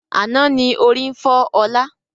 Àná ni ó rí ń fọ ọ̀la.